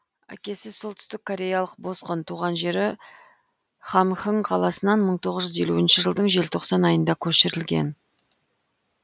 әкесі солтүстік кореялық босқын туған жері хамхың қаласынан мың тоғыз жүз елусінші жылдың желтоқсан айында көшірілген